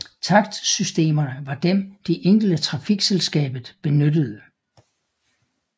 Takstsystemerne var dem de enkelte trafikselskabet benyttede